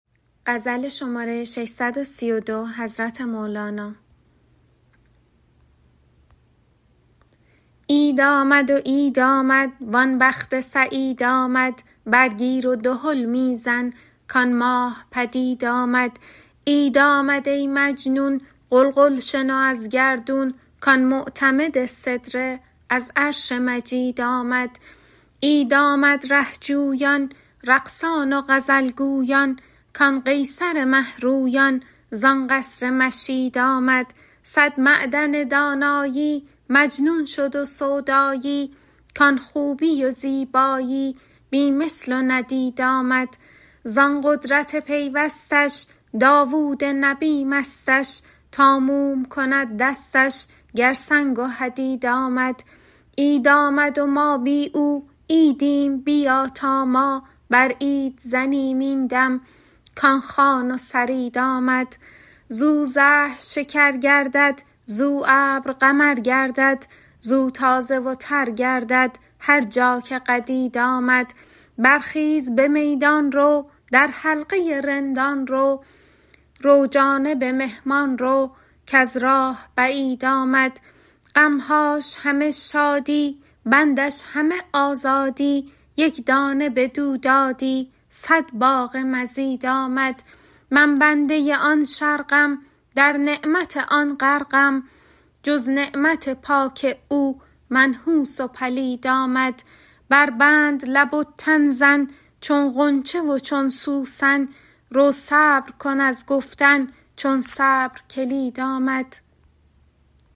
عید آمد و عید آمد وان بخت سعید آمد برگیر و دهل می زن کآن ماه پدید آمد عید آمد ای مجنون غلغل شنو از گردون کآن معتمد سدره از عرش مجید آمد عید آمد ره جویان رقصان و غزل گویان کآن قیصر مه رویان زان قصر مشید آمد صد معدن دانایی مجنون شد و سودایی کآن خوبی و زیبایی بی مثل و ندید آمد زان قدرت پیوستش داوود نبی مستش تا موم کند دستش گر سنگ و حدید آمد عید آمد و ما بی او عیدیم بیا تا ما بر عید زنیم این دم کآن خوان و ثرید آمد زو زهر شکر گردد زو ابر قمر گردد زو تازه و تر گردد هر جا که قدید آمد برخیز به میدان رو در حلقه رندان رو رو جانب مهمان رو کز راه بعید آمد غم هاش همه شادی بندش همه آزادی یک دانه بدو دادی صد باغ مزید آمد من بنده آن شرقم در نعمت آن غرقم جز نعمت پاک او منحوس و پلید آمد بربند لب و تن زن چون غنچه و چون سوسن رو صبر کن از گفتن چون صبر کلید آمد